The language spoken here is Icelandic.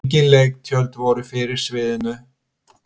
Engin leiktjöld voru fyrir sviðinu.